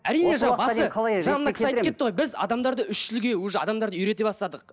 біз адамдарды үш тілге уже адамдарды үйрете бастадық